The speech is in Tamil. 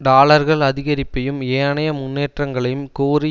டாலர்கள் அதிகரிப்பையும் ஏனைய முன்னேற்றங்களையும் கோரி